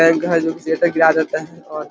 bank है जो कि शटर गिरा देते हैं और --